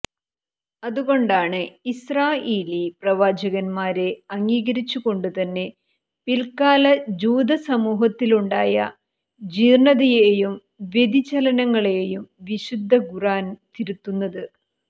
അതുകൊണ്ടാണ് ഇസ്രാഈലീ പ്രവാചകന്മാരെ അംഗീകരിച്ചുകൊണ്ടുതന്നെ പില്ക്കാല ജൂത സമൂഹത്തിലുണ്ടായ ജീര്ണതയെയും വ്യതിചലനങ്ങളെയും വിശുദ്ധ ഖുര്ആന് തിരുത്തുന്നത്